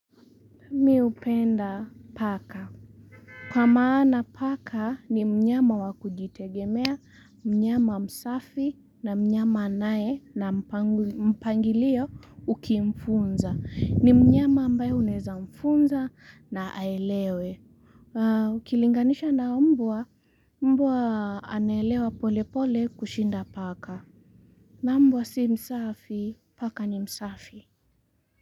Mi hupenda paka. Kwa maana paka ni mnyama wakujitegemea, mnyama msafi na mnyama anae na mpango, mpangilio ukimfunza. Ni mnyama ambayo unaeza mfunza na aelewe. Ukilinganisha na mbwa, mbwa anaelewa pole pole kushinda paka. Na mbwa si msafi, paka ni msafi.